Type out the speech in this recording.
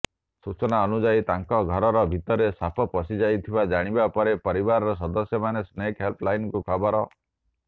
ସୂଚନା ଅନୁଯାୟୀ ତାଙ୍କ ଘର ଭିତରେ ସାପ ପଶିଯାଇଥିବା ଜାଣିବା ପରେ ପରିବାରର ସଦସ୍ୟମାନେ ସ୍ନେକ ହେଲ୍ପ ଲାଇନକୁ ଖବର